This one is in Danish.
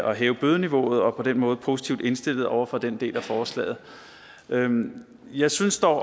at hæve bødeniveauet og vi er på den måde positivt indstillet over for den del af forslaget jeg synes dog